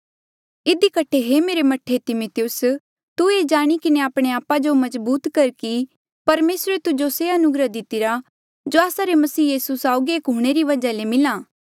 इधी कठे हे मेरे मह्ठे तिमिथियुस तू ये जाणी किन्हें आपणे आपा जो मजबूत कर कि परमेसरे तुजो से अनुग्रह दितिरा जो आस्सा रे मसीह यीसू साउगी एक हूंणे ले वजहा ले मिला